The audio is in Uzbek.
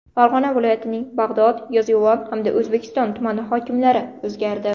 Farg‘ona viloyatining Bag‘dod, Yozyovon hamda O‘zbekiston tumani hokimlari o‘zgardi.